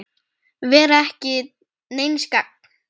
Vera ekki til neins gagns.